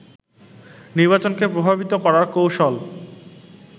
নির্বাচনকে প্রভাবিত করার কৌশল